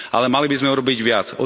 Ale mali by sme urobiť viac.